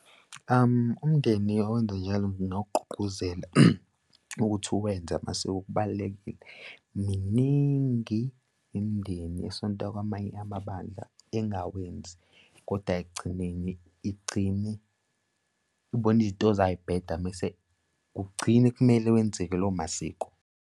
Umndeni owenza njalo, ngingawugqugquzela ukuthi uwenze amasiko kubalulekile. Miningi imindeni esonta kwamanye amabandla engawenzi kodwa-ke ekugcineni igcine ibona izinto zayo y'bheda mese kugcine kumele wenzeke lowo masiko.